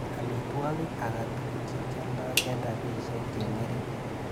Amitwogik akatukul chekialdai eng rapishek cheng'ering.